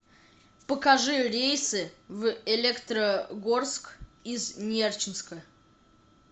покажи рейсы в электрогорск из нерчинска